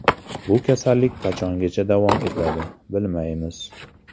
Bu kasallik qachongacha davom etadi, bilmaymiz.